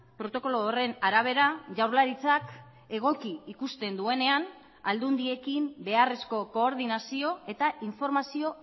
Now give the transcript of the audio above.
protokolo horren arabera jaurlaritzak egoki ikusten duenean aldundiekin beharrezko koordinazio eta informazio